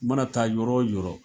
U mana taa yɔrɔ wo yɔrɔ.